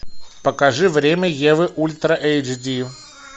покажи время евы ультра эйч ди